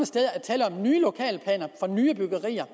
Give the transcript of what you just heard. steder er tale om nye lokalplaner for nye byggerier